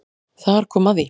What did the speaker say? Þar kom að því